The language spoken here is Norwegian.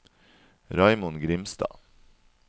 Raymond Grimstad